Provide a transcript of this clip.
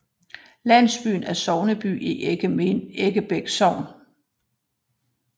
Landsbyen er sogneby i Eggebæk Sogn